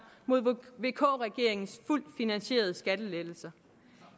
mod vk regeringens fuldt finansierede skattelettelser